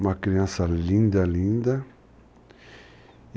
Uma criança linda, linda.